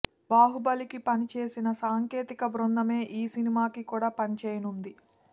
బాహుబలికి పని చేసిన సాంకేతిక బృందమే ఈ సినిమాకి కూడా పని చేయనుంది